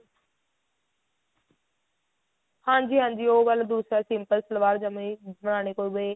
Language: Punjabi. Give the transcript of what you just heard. ਹਾਂਜੀ ਹਾਂਜੀ ਉਹ ਵਾਲਾ ਦੂਸਰਾ simple ਸਲਵਾਰ ਜਵਾਂ ਹੀ